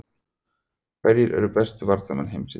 Hverjir eru bestu varnarmenn heims í dag?